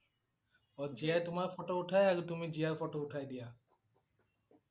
অ' জীয়াই তোমাৰ ফটো উঠাই আৰু তুমি জীয়াৰ ফটো উঠাই দিয়া